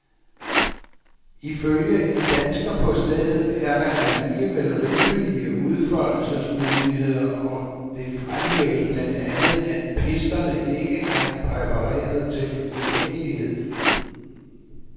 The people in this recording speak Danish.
Ifølge en dansker på stedet er der alligevel rimelige udfoldelsesmuligheder, og det fremhæves blandt andet, at pisterne ikke er præpareret til ukendelighed.